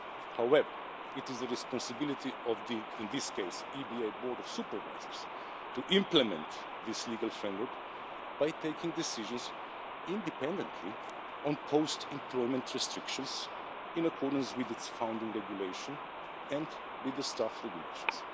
However, it is the responsibility of, in this case, the EBA Board of Supervisors to implement this legal framework by taking decisions independently on post employment restrictions, in accordance with its founding regulation and with the Staff Regulations.